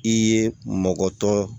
I ye mɔgɔ tɔ